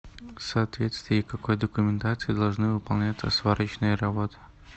в соответствии какой документации должны выполняться сварочные работы